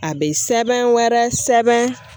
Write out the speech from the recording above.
A bɛ sɛbɛn wɛrɛ sɛbɛn